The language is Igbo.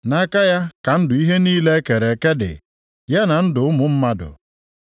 Nʼaka ya ka ndụ ihe niile e kere eke dị, ya na ndụ ụmụ mmadụ